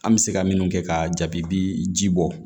An bɛ se ka minnu kɛ ka jaabi bi ji bɔ